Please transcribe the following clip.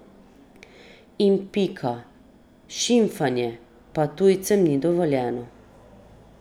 In pika, šimfanje pa tujcem ni dovoljeno.